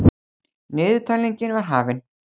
Niðurtalningin var hafin.